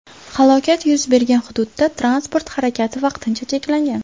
Halokat yuz bergan hududda transport harakati vaqtincha cheklangan.